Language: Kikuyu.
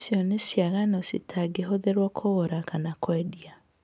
Icio nĩ ciĩgaano itangĩhũthĩrũo kũgũra kana kwendia.